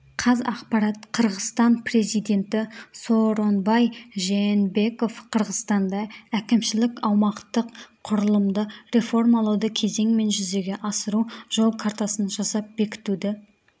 қазақпарат қырғызстан президенті сооронбай жээнбеков қырғызстанда әкімшілік-аумақтық құрылымды реформалауды кезеңмен жүзеге асыру жол картасын жасап бекітуді